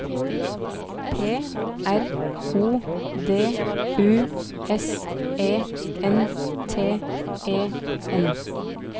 P R O D U S E N T E N